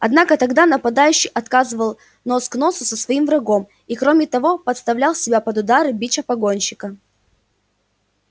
однако тогда нападающий оказывал нос к носу со своим врагом и кроме того подставлял себя под удары бича погонщика